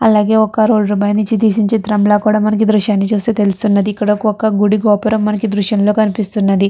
అలాగే ఒక రోడ్ పైనుంచి తీసిన చిత్రంల కూడా మనకు ఈ దృశ్యాన్ని చుస్తే తెలుస్తున్నది ఇక్కడ చుస్తే ఒక గుడి గోపురం మనకి ఈ దృశ్యంలో కనిపిస్తున్నది.